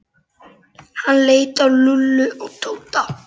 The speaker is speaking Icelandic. Hann leit á Lúlla og Tóta.